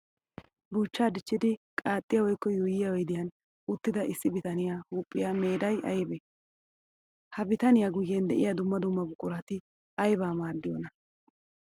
Buuchcha dichchiddi qaaxxiya woykko yuuyiya oyddiya uttidda issi bitaniya huuphiya miidday aybbe? Ha bitaniya guyen de'iya dumma dumma buquratti aybba maadiyoona?